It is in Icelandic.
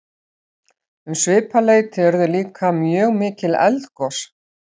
um svipað leyti urðu líka mjög mikil eldgos